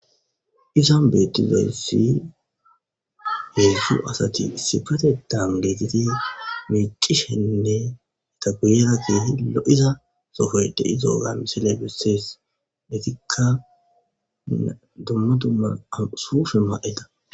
izan beettizayssi heedzdzu asati isipetetan geetiti miicishenne ita guyera keehi lo7iza sohoy de7izoga misile bessees etikka dumma dumma ma7o sufe ma7ida